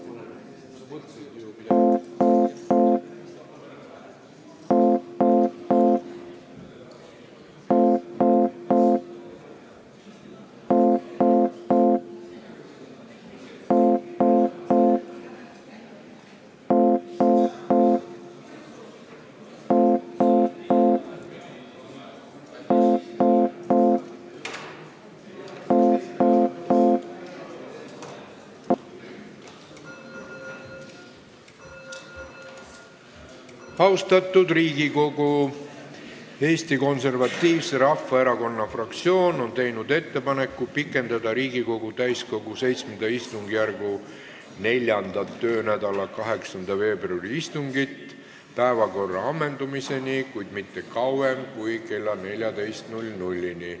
Austatud Riigikogu, Eesti Konservatiivse Rahvaerakonna fraktsioon on teinud ettepaneku pikendada Riigikogu täiskogu VII istungjärgu 4. töönädala 8. veebruari istungit päevakorra ammendumiseni, kuid mitte kauem kui kella 14-ni.